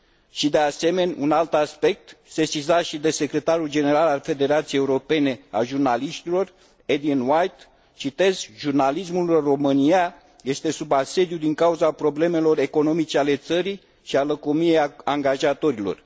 și, de asemenea, un alt aspect, sesizat și de Secretarul General al Federației Europene a Jurnaliștilor, Aidan White, citez Jurnalismul în România este sub asediu din cauza problemelor economice ale țării și a lăcomiei angajatorilor.